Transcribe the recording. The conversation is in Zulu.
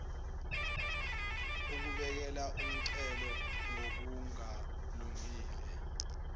ukubekela umncele ngokungalungile